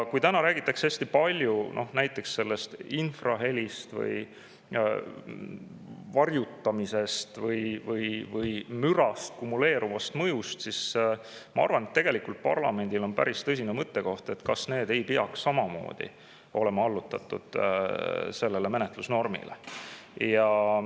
Kuna täna räägitakse hästi palju näiteks infrahelist, varjutamisest või mürast, kumuleeruvast mõjust, siis ma arvan, et tegelikult on parlamendil päris tõsine mõttekoht, kas need ei peaks samamoodi olema allutatud sellele menetlusnormile.